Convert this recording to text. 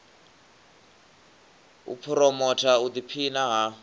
u phuromotha u ḓiphina ha